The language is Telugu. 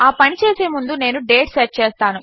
ఆ పని చేసే ముందు నేను డేట్ సెట్ చేస్తాను